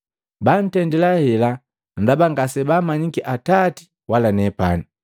Bantendila hela ndaba ngasebaamanyiki Atati wala nepani.